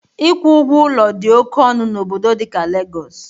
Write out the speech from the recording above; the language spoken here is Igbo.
Ịkwụ ụgwọ ụlọ dị oke ọnụ n'obodo dịka Lagos